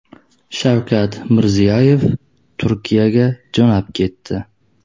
Shavkat Mirziyoyev Turkiyaga jo‘nab ketdi.